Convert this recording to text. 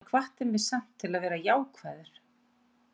Hann hvatti mig samt til að vera jákvæður.